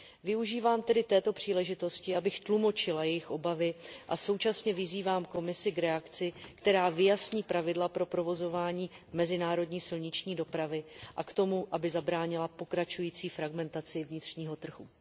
Využívám tedy této příležitosti, abych tlumočila jejich obavy, a současně vyzývám Komisy k reakci, která vyjasní pravidla pro provozování mezinárodní silniční dopravy, a k tomu, aby zabránila pokračující fragmentaci vnitřního trhu.